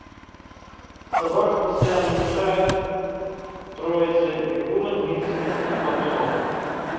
собака постоянно мешает троице никулин вицин моргунов